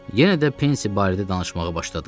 Yenə də Pensy barədə danışmağa başladım.